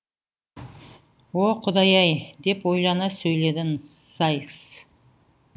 о құдай ай деп ойлана сөйледі сайкс